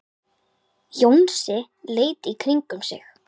Jónsi leit í kringum sig.